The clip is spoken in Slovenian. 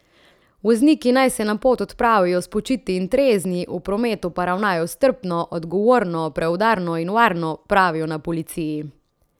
Vozniki naj se na pot odpravijo spočiti in trezni, v prometu pa ravnajo strpno, odgovorno, preudarno in varno, pravijo na policiji.